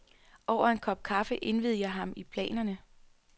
Over en kop kaffe indviede jeg ham i planerne.